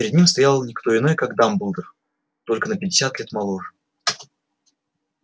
перед ним стоял не кто иной как дамблдор только на пятьдесят лет моложе